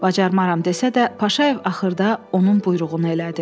Bacarmaram desə də, Paşayev axırda onun buyruğunu elədi.